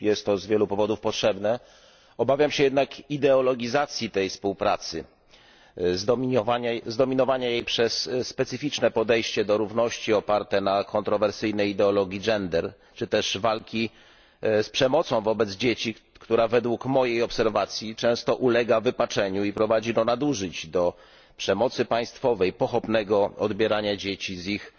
Jest to z wielu powodów potrzebne, obawiam się jednak ideologizacji tej współpracy, zdominowania jej przez specyficzne podejście do równości oparte na kontrowersyjnej ideologii czy też walki z przemocą wobec dzieci, która według mojej obserwacji często ulega wypaczeniu i prowadzi do nadużyć, do przemocy państwowej, pochopnego odbierania dzieci z ich